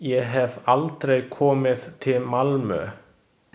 Ég hef aldrei komið til Malmö.